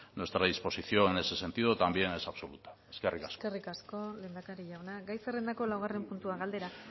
nuestra disposición en ese sentido también es absoluta eskerrik asko eskerrik asko lehendakari jauna gai zerrendako laugarren puntua galdera